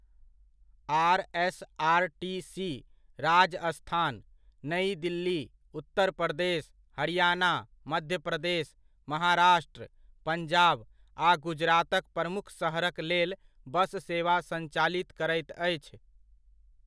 RSRTC Rajasthan, Nai Delhi, Uttar Pradesh, Haryana, Madhya Pradesh, Maharashtra, Punjab आ गुजरातक प्रमुख शहरक लेल बस सेवा सञ्चालित करैत अछि।